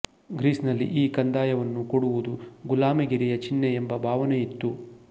ಗ್ರೀಸಿನಲ್ಲಿ ಈ ಕಂದಾಯವನ್ನು ಕೊಡುವುದು ಗುಲಾಮಗಿರಿಯ ಚಿಹ್ನೆ ಎಂಬ ಭಾವನೆಯಿತ್ತು